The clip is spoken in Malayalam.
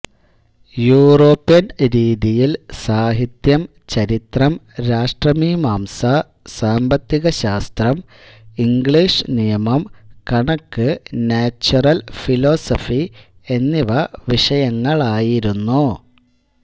യൂറോപ്യൻ രീതിയിൽ സാഹിത്യം ചരിത്രം രാഷ്ട്രമീംമാംസ സാമ്പത്തികശാസ്ത്രം ഇംഗ്ലീഷ് നിയമം കണക്ക് നാച്വറൽ ഫിലോസഫി എന്നിവ വിഷയങ്ങളായിരുന്നു